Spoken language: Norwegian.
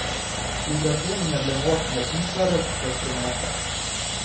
Vibrasjonene ble målt med et infrarødt spektrometer.